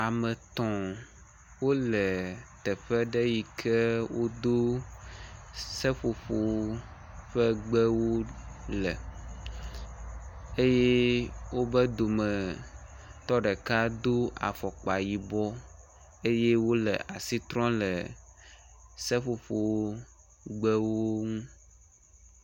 Ame etɔ̃ wole teƒe ɖe yi ke wodo seƒoƒo ƒe gbewo le eye woƒe dometɔ ɖeka do afɔkpa yibɔ eye wole asitrɔm le seƒoƒo gbewo ŋu.